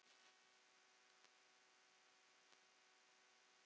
Margt annað er á flótta.